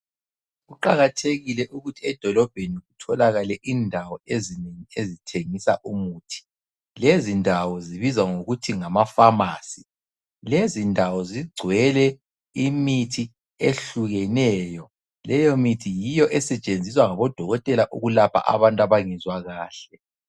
Kuqakathekile ukuthi edolobheni kutholakale indawo ezithengisa umuthi. Lezindawo zibizwa ngokuthi ngamaPharmacy. Lezindawo zigcwele imithi ehlukeneyo. Leyomithi yiyo esetshenziswa ngabodokotela ukulapha abantu abangezwa kahle.